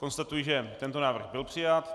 Konstatuji, že tento návrh byl přijat.